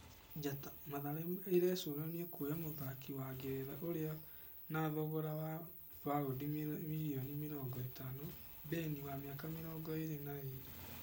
(Njata) Mathare ĩrecũrania kuoya mũthaki wa Ngeretha ũrĩ na thogira wa baũndi mirioni mĩrongo ĩtano, Beni wa mĩaka mĩrongo ĩrĩ na ĩrĩ.